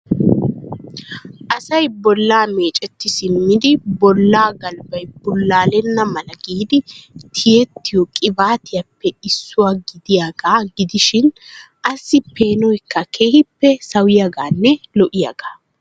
asay bollaa meecceti simmidi, bolla galbbay bullallena mala giidi tiyyetiyo qibaatiyappe issuwa gidiyaaga gidishin assi peenoykka keehippe sawiyaaganne lo''iyaa .